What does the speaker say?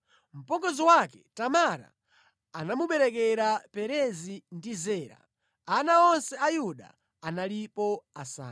Mpongozi wake Tamara anamuberekera Perezi ndi Zera. Ana onse a Yuda analipo asanu.